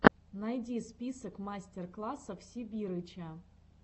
найди список мастер классов сибирыча